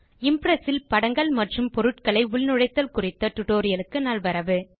Impress ல் படங்கள் மற்றும் பொருட்களை உள்நுழைத்தல் குறித்த டியூட்டோரியல் க்கு நல்வரவு